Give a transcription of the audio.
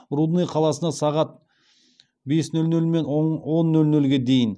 рудный қаласына сағат бес нөл нөл мен он нөл нөлге дейін